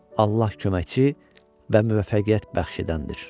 Allah köməkçi və müvəffəqiyyət bəxş edəndir.